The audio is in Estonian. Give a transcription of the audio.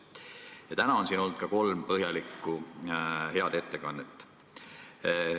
Ja täna on siin olnud kolm põhjalikku, head ettekannet.